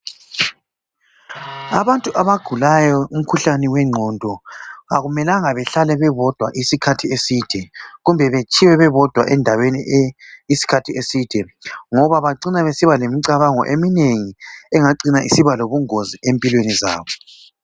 Abantu abagulayo imikhuhlane wengqondo, akumelanga behlale bebodwa isikhathi eside, kumbe betshiywe bebodwa endaweni ee... isikhathi eside, ngoba bacina besiba lemicabango eminengi, engacina isiba lobungozi empilweni zabo,